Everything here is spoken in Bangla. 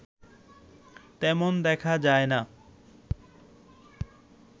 তেমন দেখা যায় না